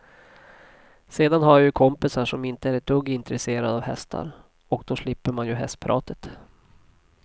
Sedan har jag ju kompisar som inte är ett dugg intresserade av hästar, och då slipper man ju hästpratet.